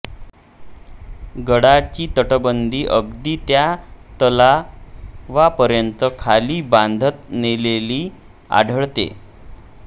गडाची तटबंदी अगदी त्या तलावापर्यंत खाली बांधत नेलेली आढळते